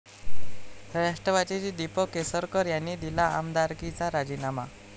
राष्ट्रवादीचे दीपक केसरकर यांनी दिला आमदारकीचा राजीनामा